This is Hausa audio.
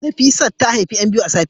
Nefisat ta haifi ' yan biyu a safiyar yau